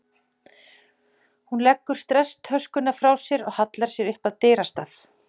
Hún leggur stresstöskuna frá sér og hallar sér upp að dyrastaf.